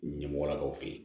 Ɲɛmɔgɔlakaw fɛ yen